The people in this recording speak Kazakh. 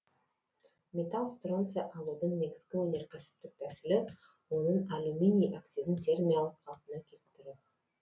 металл стронций алудың негізгі өнеркәсіптік тәсілі оның алюминий оксидін термиялық қалпына келтіру